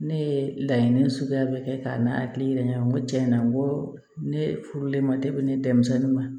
Ne ye laɲini suguya bɛɛ kɛ ka n'a hakili yira ɲɔgɔn na n ko tiɲɛna n ko ne furulenma de bɛ ne denmisɛnnin ma